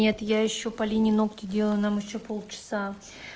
нет я ещё полине ногти делаю нам ещё полчаса